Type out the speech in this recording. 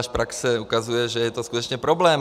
Až praxe ukazuje, že je to skutečně problém.